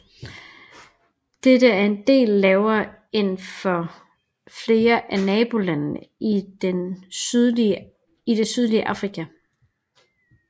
Dette er en del lavere end for flere af nabolandene i det sydlige Afrika